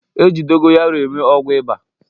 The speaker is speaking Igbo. E ji dogoyaro eme ọgwụ ịba